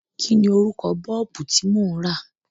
Kí ni orúkọ Bọ́ọ̀bù tí mò ń rà?